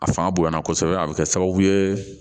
A fanga bonyana kosɛbɛ a bɛ kɛ sababu ye